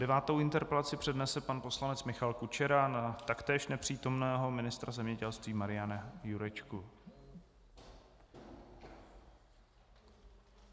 Devátou interpelaci přednese pan poslanec Michal Kučera na taktéž nepřítomného ministra zemědělství Mariana Jurečku.